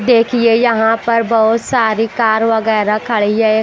देखिए यहाँ पर बहुत सारी कार वगैरा खड़ी है।